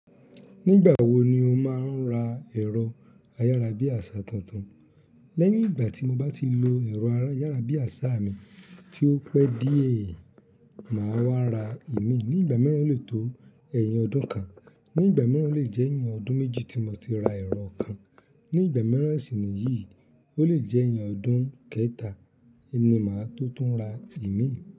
Nígbà wo ni o máa ń ra ẹ̀rọ ayárabíàṣá tuntun? Lẹ́yìn ìgbà tí mo bá ti lo ẹ̀rọ ayárabíàṣá mi tí ó pẹ́ díẹ̀, màá wá ra ìmíì. Ní ìgbà mìíràn o le tó ẹ̀yìn ọdún kan, ní ìgbà mìíràn o le jẹ́ ẹ̀yìn ọdún méjì tí mo ti ra ẹ̀rọ kan. Ní ìgbà mìíràn sì nìyí, ó le jẹ́ ẹ̀yìn ọdún kẹ́ta ni màá tó tún ra ìmíì.